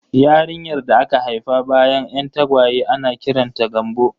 Yarinyar da aka haifa bayan 'yan tagwaye ana kiranta da 'Gambo'